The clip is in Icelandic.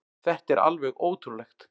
Þetta er alveg ótrúlegt.